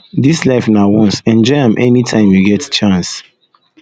dis life na once enjoy am anytime you get chance